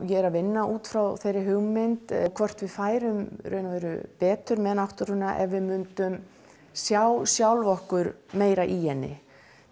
ég er að vinna út frá þeirri hugmynd hvort við færum betur með náttúruna ef við myndum sjá sjálf okkur meira í henni